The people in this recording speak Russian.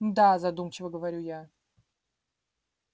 м-да задумчиво говорю я